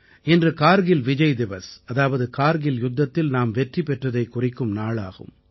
இன்று கார்கில் விஜய் திவஸ் அதாவது கார்கில் யுத்தத்தில் நாம் வெற்றி பெற்றதைக் குறிக்கும் நாள் ஆகும்